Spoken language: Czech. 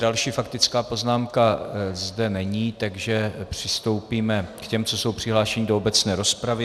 Další faktická poznámka zde není, takže přistoupíme k těm, co jsou přihlášeni do obecné rozpravy.